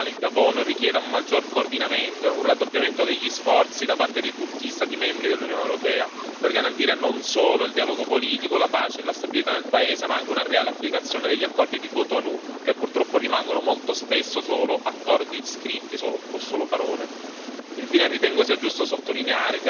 È evidente che l'attuale divisione politica e sociale in Gabon richiede un maggior coordinamento e un raddoppiamento degli sforzi da parte di tutti gli Stati membri dell'Unione europea, per garantire non solo il dialogo politico, la pace e la stabilità nel Paese, ma anche una reale applicazione degli accordi di Cotonou, che purtroppo rimangono molto spesso solo accordi scritti o solo parole.